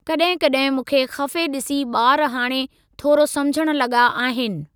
कड॒हिं कड॒हिं मूंखे खफ़े ॾिसी बा॒र हाणे थोरो सम्झण लगा॒ आहिनि।